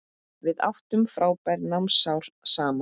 Við áttum frábær námsár saman.